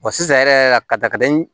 sisan yɛrɛ ka dakadi